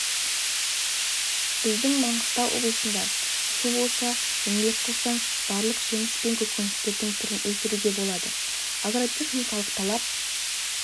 -біздің маңғыстау облысында су болса еңбек қылсаң барлық жеміс пен көкөністердің түрін өсіруге болады агротехникалық талап